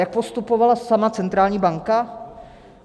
Jak postupovala sama centrální banka?